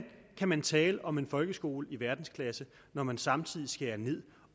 kan man tale om en folkeskole i verdensklasse når man samtidig skærer ned